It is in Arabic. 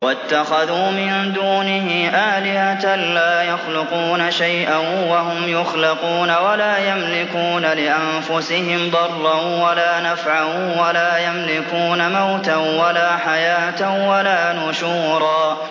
وَاتَّخَذُوا مِن دُونِهِ آلِهَةً لَّا يَخْلُقُونَ شَيْئًا وَهُمْ يُخْلَقُونَ وَلَا يَمْلِكُونَ لِأَنفُسِهِمْ ضَرًّا وَلَا نَفْعًا وَلَا يَمْلِكُونَ مَوْتًا وَلَا حَيَاةً وَلَا نُشُورًا